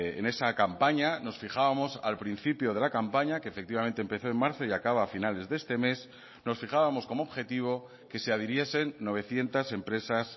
en esa campaña nos fijábamos al principio de la campaña que efectivamente empezó en marzo y acaba a finales de este mes nos fijábamos como objetivo que se adhiriesen novecientos empresas